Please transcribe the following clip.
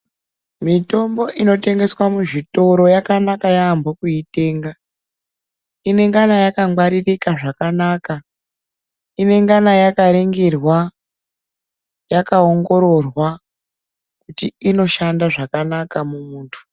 Mitombo inotengeswa muzvitoro yakanaka yaambo kuitenga. Inengana yakangwaririka zvakanaka inengana yakaringirwa yakaongororwa, kuti inoshanda zvakanaka mumuntu.